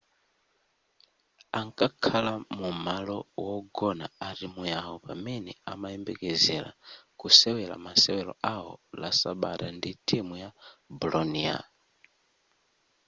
ankakhala mumalo wogona a timu yawo pamene amayembekezera kusewera masewero awo la sabata ndi timu ya bolonia